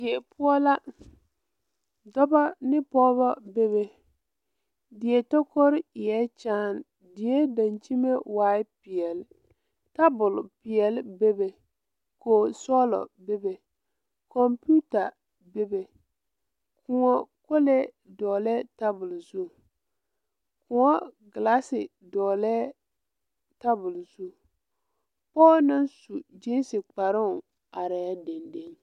Die poɔ la dɔbɔ ne pɔɔbɔ bebe die takorre eɛɛ kyaan die dankyime waai peɛle tabole peɛle bebe koge sɔglɔ bebe kɔmpiuta bebe kòɔ kolee dɔglɛɛ tabole zu kòɔ gilaase dɔɔlɛɛ tabole zu pɔɔ naŋ su gyeese kparoŋ arɛɛ deŋ deŋ.